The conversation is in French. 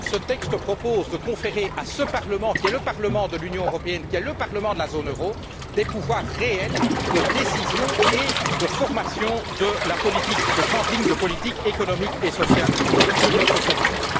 Ce texte propose de conférer à ce Parlement, qui est le Parlement de l'Union européenne et le Parlement de la zone euro, des pouvoirs réels de décision et de formation des grandes lignes de politique économique et sociale sur notre continent.